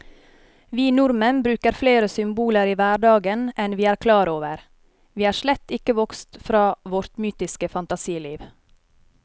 Vi nordmenn bruker flere symboler i hverdagen enn vi er klar over, vi er slett ikke vokst fra vårt mytiske fantasiliv.